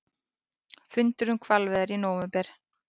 Fundur um hvalveiðar í nóvember